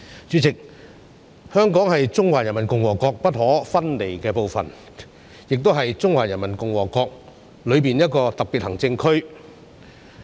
主席，香港是中華人民共和國不可分離的部分，亦是中華人民共和國內的一個特別行政區。